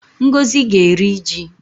Ngozi ga-eri ji